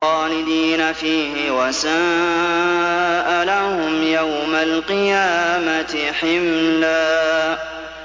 خَالِدِينَ فِيهِ ۖ وَسَاءَ لَهُمْ يَوْمَ الْقِيَامَةِ حِمْلًا